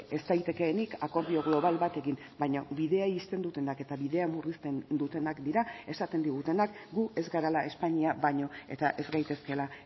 ez daitekeenik akordio global bat egin baina bidea ixten dutenak eta bidea murrizten dutenak dira esaten digutenak gu ez garela espainia baino eta ez gaitezkeela